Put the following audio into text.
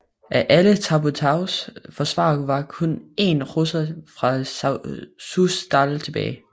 Af alle Tarbatus forsvarere var kun en russer fra Suzdal tilbage